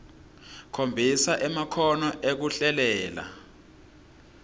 khombisa emakhono ekuhlelela